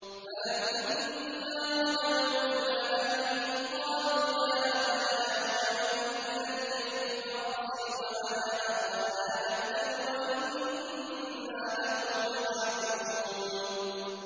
فَلَمَّا رَجَعُوا إِلَىٰ أَبِيهِمْ قَالُوا يَا أَبَانَا مُنِعَ مِنَّا الْكَيْلُ فَأَرْسِلْ مَعَنَا أَخَانَا نَكْتَلْ وَإِنَّا لَهُ لَحَافِظُونَ